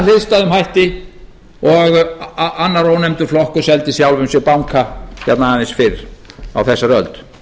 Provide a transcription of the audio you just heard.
hliðstæðum hætti og annar ónefndur flokkur seldi sjálfum sér banka hérna aðeins fyrr á þessari öld